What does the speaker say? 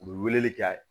U bɛ weleli kɛ